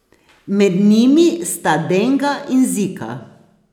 Med njimi sta denga in zika.